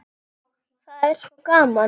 Það var svo gaman.